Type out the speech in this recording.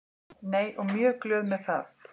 Nei og mjög glöð með það.